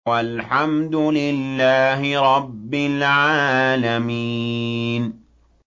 وَالْحَمْدُ لِلَّهِ رَبِّ الْعَالَمِينَ